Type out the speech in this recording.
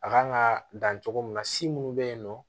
A kan ka dan cogo min na si munnu be yen nɔ